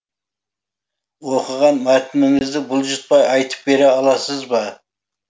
оқыған мәтініңізді бұлжытпай айтып бере аласыз ба